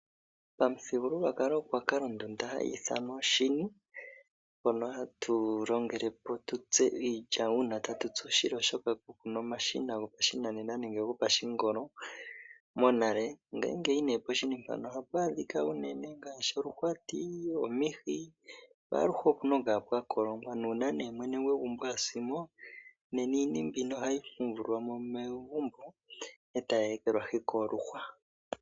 Pamuthigululwakalo momagumbo goshiwambo omuna oondunda hayiithanwa oshini, shono hatutsike iilya opo twiimonene uusila, oshoka monale kapwali omashina gopashinanena gokutsitha. Poshini ohapwaadhika oluhwati, omihi, oshini naaluhe ohapukolongwa neloya. Pashiwambo ngele mwene gwegumbo okwahuluko iishini ohayi fumvulwamo etayeekelwahi miihwa.